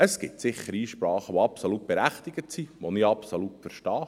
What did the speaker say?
Es gibt sicher Einsprachen, welche absolut berechtigt sind, welche ich absolut verstehe.